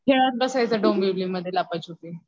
खेळात बसायचं डोंबिवली मध्ये लपाछपी.